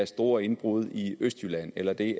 store indbrud i østjylland eller det